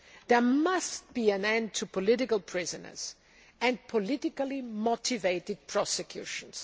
There must be an end to political prisoners and politically motivated prosecutions.